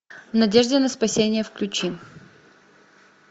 в надежде на спасение включи